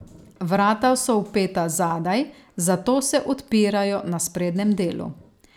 Vrata so vpeta zadaj, zato se odpirajo na sprednjem delu.